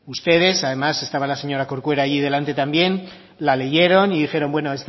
ustedes además estaba la señora corcuera allí delante también la leyeron y dijeron bueno